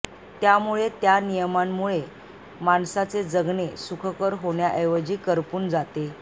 त्यामुळे त्या नियमांमुळे माणसाचे जगणे सुखकर होण्याऐवजी करपून जाते